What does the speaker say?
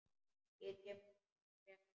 Ég kem rétt strax.